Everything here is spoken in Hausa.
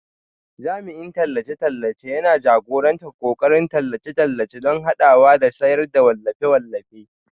Jami'in tallace-tallace yana jagorantar ƙoƙarin tallace-tallace don haɓakawa da sayar da wallafe-wallafe